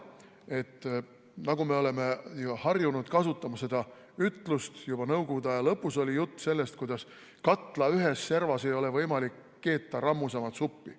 Me oleme harjunud kasutama seda ütlust, juba nõukogude aja lõpus oli sellest juttu, kuidas katla ühes servas ei ole võimalik keeta rammusamat suppi.